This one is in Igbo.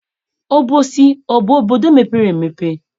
Obosi abụ obodo mepere emepe?